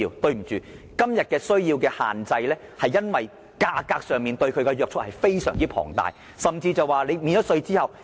對不起，今天電動車的需求受到限制，是因為價格非常龐大，甚至免稅後，二手電動車仍然十分昂貴。